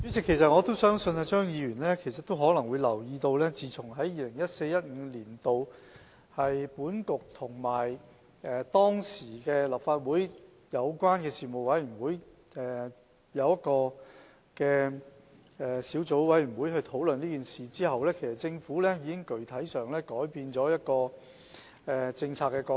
主席，我相信張議員可能留意到，在 2014-2015 年度，本局與當時的立法會有關事務委員會成立的小組委員會討論這問題後，政府已具體上改變政策角度。